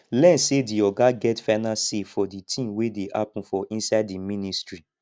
learn sey di oga get final sey for di thing wey dey happen for inside di ministry